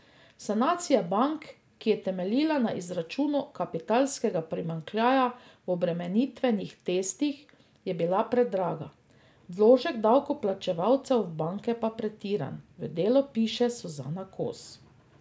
Sanacija bank, ki je temeljila na izračunu kapitalskega primanjkljaja v obremenitvenih testih, je bila predraga, vložek davkoplačevalcev v banke pa pretiran, v Delu piše Suzana Kos.